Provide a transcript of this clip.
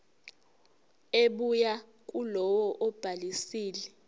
ebuya kulowo obhalisile